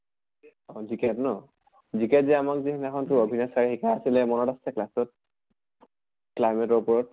অহ GK ন? GK যে আমাক যে সেইদিনা খন তোৰ অভিনাচ sir য়ে শিকাই আছিলে মনত আছে class ত? climate ৰ ওপৰত।